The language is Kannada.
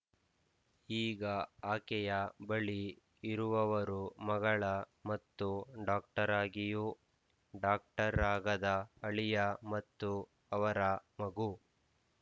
ಈಗ ಆಕೆಯ ಬಳಿ ಇರುವವರು ಮಗಳ ಮತ್ತು ಡಾಕ್ಟರಾಗಿಯೂ ಡಾಕ್ಟರಾಗದ ಅಳಿಯ ಮತ್ತು ಅವರ ಮಗು